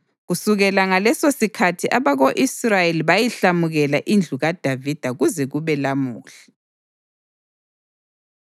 Kusukela ngalesosikhathi abako-Israyeli bayihlamukela indlu kaDavida kuze kube lamuhla.